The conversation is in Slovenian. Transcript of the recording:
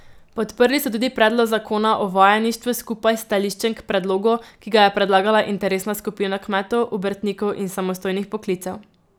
Podprli so tudi predlog zakona o vajeništvu skupaj s stališčem k predlogu, ki ga je predlagala interesna skupina kmetov, obrtnikov in samostojnih poklicev.